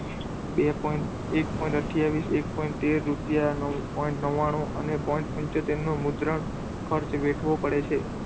બે point એક point આથીયાવીસ, એક point તેર રૂપિયા, એક point નવ્વાણુ અને point પંચોતેર ખર્ચ વધવો પડે છે.